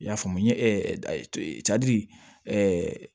I y'a faamu n ye cadi